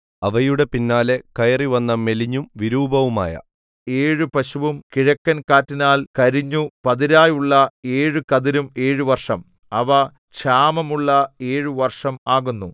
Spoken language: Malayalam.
അവയുടെ പിന്നാലെ കയറിവന്ന മെലിഞ്ഞും വിരൂപവുമായ ഏഴു പശുവും കിഴക്കൻ കാറ്റിനാൽ കരിഞ്ഞു പതിരായുള്ള ഏഴു കതിരും ഏഴു വർഷം അവ ക്ഷാമമുള്ള ഏഴു വർഷം ആകുന്നു